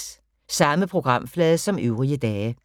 Samme programflade som øvrige dage